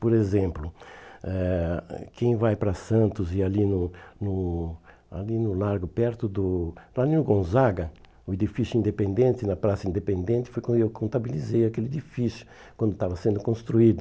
Por exemplo, eh ãh quem vai para Santos e ali no no ali no Largo, perto do... Lá no Gonzaga, o edifício independente, na Praça Independente, foi quando eu contabilizei aquele edifício, quando estava sendo construído.